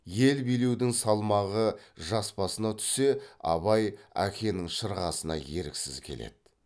ел билеудің салмағы жас басына түссе абай әкенің шырғасына еріксіз келеді